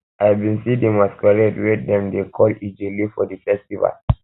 i bin see di masqurade wey dem dey call ijele for di festival